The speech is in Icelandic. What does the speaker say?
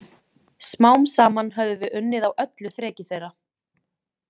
Smám saman höfðum við unnið á öllu þreki þeirra.